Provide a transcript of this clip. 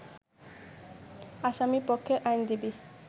আসামিপক্ষের আইনজীবী